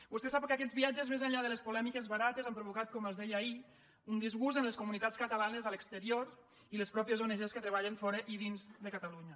vostè sap que aquests viatges més enllà de les polèmiques barates han provocat com els deia ahir un disgust en les comunitats catalanes a l’exterior i les mateixes ong que treballen fora i dins de catalunya